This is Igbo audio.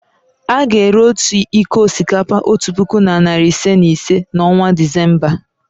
A ga-ere otu iko osikapa otu puku na narị ise na ise n'ọnwa Disemba.